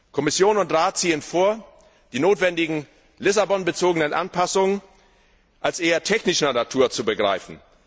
Kommission und Rat ziehen vor, die notwendigen Lissabon bezogenen Anpassungen als eher technischer Natur zu begreifen.